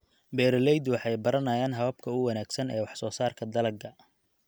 Beeraleydu waxay baranayaan hababka ugu wanaagsan ee wax soo saarka dalagga.